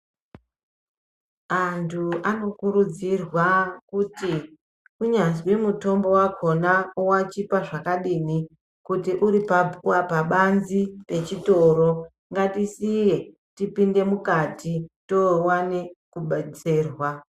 Antu anokurudzirwa kuti kunyazwi mutombo vakona unochipa zvakadini. Kuti uri pabanzi pechitoro ngatisiye tipinde mukati tovane kubetserwa.